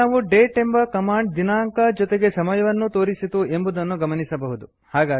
ಇಲ್ಲಿ ನಾವು ಡೇಟ್ ಎಂಬ ಕಮಾಂಡ್ ದಿನಾಂಕ ಜೊತೆಗೆ ಸಮಯವನ್ನೂ ತೋರಿಸಿತು ಎಂಬುದನ್ನು ಗಮನಿಸಬಹುದು